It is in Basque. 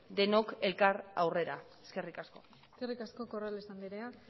denok elkar aurrera eskerrik asko eskerrik asko corrales andrea